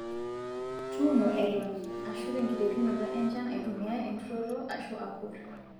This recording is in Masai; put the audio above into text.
Tuuno Eton Ashu tenkiterunoto enshan aitumiya eturoto Ashu akur